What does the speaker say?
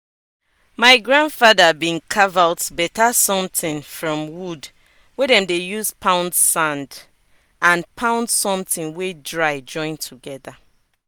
my grandfather bin carve out better somtin from wood wey dem dey use pound sand and pound somtin wey dry join together.